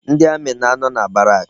Ndị amị na-anọ na barak.